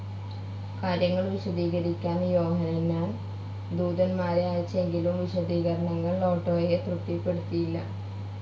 കാര്യങ്ങൾ വിശദീകരിക്കാൻ യോഹന്നാൻ ദൂതന്മാരെ അയച്ചെങ്കിലും വിശദീകരണങ്ങൾ ഒട്ടോയെ തൃപ്തിപ്പെടുത്തിയില്ല.